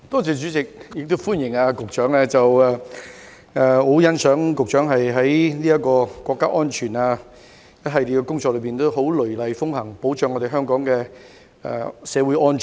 主席，我歡迎局長，亦很欣賞局長雷厲風行，落實維護國家安全的一系列工作，保障香港社會安全。